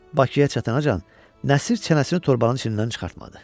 Bakıya çatana qədər Nəsir çənəsini torbanın içindən çıxartmadı.